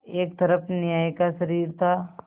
एक तरफ न्याय का शरीर था